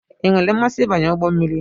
I nwere mmasị ịbanye ụgbọ mmiri?